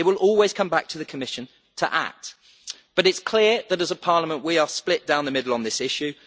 It will always come back to the Commission to act, but it is clear that as a Parliament we are split down the middle on this issue.